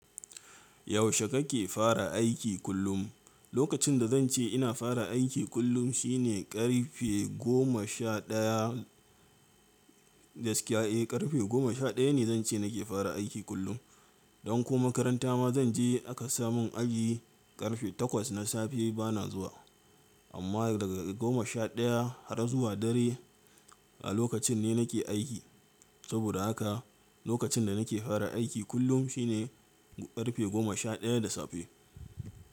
Yaushe kake fara aiki kullum? Lokacin da zan ce ina fara aiki kullum shi ne karfe goma sha ɗaya da skiya'i. Karfe goma sha ɗaya ne zan ce nake fara aiki kullum. Don ko makaranta ma zan je aka sa mun aji karfe takwas na safe bana zuwa. Amma daga goma sha ɗaya har zuwa dare a lokacin ne nake aiki. Saboda haka lokacin da nake fara aiki kullum shi ne karfe goma sha ɗaya da safe.